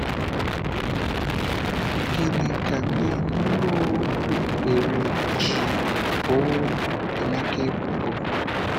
N’ihi gịnị ka ndị ndú okpukpere ji boo Emeka ebubo?